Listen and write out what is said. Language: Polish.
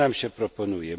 Co nam się proponuje?